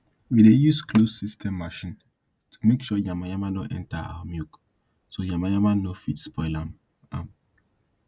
we dey use closed system machine to make sure yamayama nor dey enta our milk so yamayama nor fit spoil am am